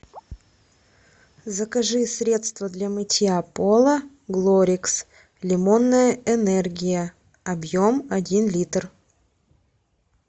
закажи средство для мытья пола глорикс лимонная энергия объем один литр